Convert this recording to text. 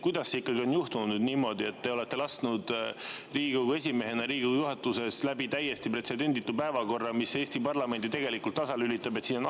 Kuidas ikkagi on juhtunud niimoodi, et te olete lasknud Riigikogu esimehena Riigikogu juhatuses läbi täiesti pretsedenditu päevakorra, mis Eesti parlamendi tasalülitab?